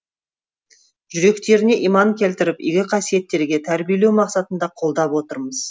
жүректеріне иман келтіріп игі қасиеттерге тәрбиелеу мақсатында қолдап отырмыз